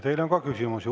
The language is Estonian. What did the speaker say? Teile on ka küsimusi.